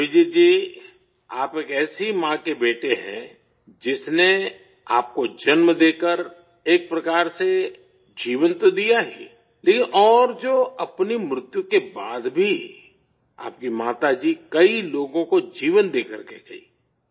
ابھجیت جی، آپ ایک ایسی ماں کے بیٹے ہیں جس نے آپ کو جنم دے کر ایک طرح سے زندگی تو دی ہے، لیکن اور جو اپنی موت کے بعد بھی آپ کی ماتا جی کئی لوگوں کو زندگی دے کر گئیں